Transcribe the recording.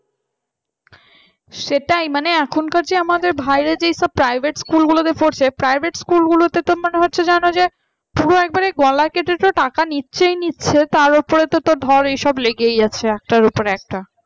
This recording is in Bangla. সেটাই মানে এখনকার আমাদের ভাইরা যেসব private school গুলোতে পড়ছে private schools গুলোতে তো মনে হচ্ছে যেন যে একেবারে গলা কেটে তো টাকা তো নিচ্ছে নিচ্ছে নিচ্ছে তার উপরে তো ধর এসব লেগে আছে একটার উপর একটা